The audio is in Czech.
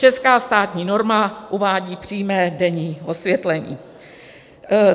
Česká státní norma uvádí přímé denní osvětlení.